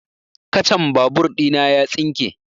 Kacan babur ɗina ya tsinke